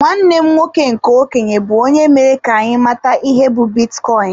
Nwanne m nwoke nke okenye bu onye mere ka anyị mata ihe be bitcoin.